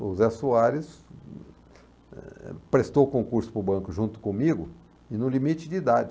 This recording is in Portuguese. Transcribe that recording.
O Zé Soares hm eh prestou o concurso para o banco junto comigo e no limite de idade.